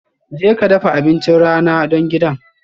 Jeka dafa abincin rana don gidan